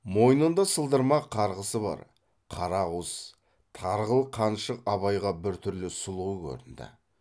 мойнында сылдырмақ қарғысы бар қара ауыз тарғыл қаншық абайға біртүрлі сұлу көрінді